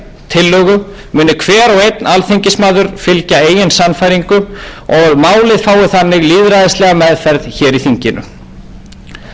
tillögu muni hver og einn alþingismaður fylgja eigin sannfæringu og málið fái þannig lýðræðislega meðferð hér í þinginu á næstu árum þurfa íslendingar að takast á við mjög stórt og